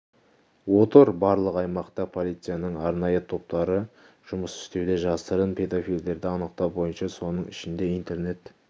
отыр барлық аймақта полицияның арнайы топтары жұмыс істеуде жасырын педофилдерді анықтау бойынша соның ішінде интернет